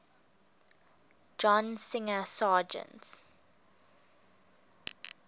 john singer sargent